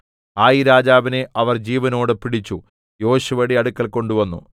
ഹായിരാജാവിനെ അവർ ജീവനോടെ പിടിച്ചു യോശുവയുടെ അടുക്കൽ കൊണ്ടുവന്നു